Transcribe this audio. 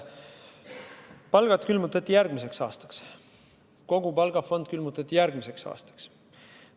Palgad külmutati järgmiseks aastaks, kogu palgafond külmutati järgmiseks aastaks.